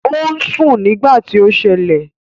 Ò ń sùn nígbà tí ó ṣẹlẹ̀